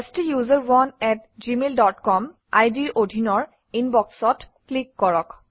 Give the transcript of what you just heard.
ষ্টাচাৰণে আত Gmail dot com আইডিৰ অধীনৰ Inbox অত ক্লিক কৰক